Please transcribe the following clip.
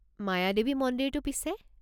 মায়াদেৱী মন্দিৰটো পিছে?